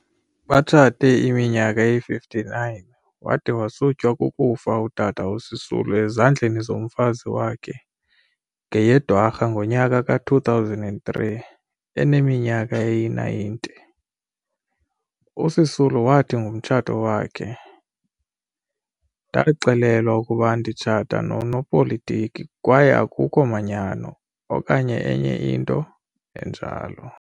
Batshate iminyaka eyi-59, wade wasutywa kukufa utata uSisulu, ezandleni zomfazi wake ngeyeDwarha ngonyaka ka-2003 eneminyaka eyi-90. USisulu wathi ngomtshato wakhe- "Ndaxelelwa ukuba nditshata nonopolitiki kwaye akhukho manyano, okanye enye into enjalo."